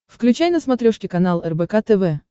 включай на смотрешке канал рбк тв